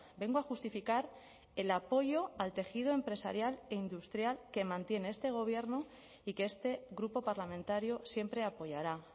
vengo a justificar el apoyo al tejido empresarial e industrial que mantiene este gobierno y que este grupo parlamentario siempre apoyará